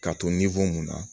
K'a to mun na